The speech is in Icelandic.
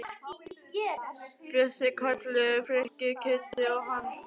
Bjössi, Kalli, Frikki, Kiddi og hann.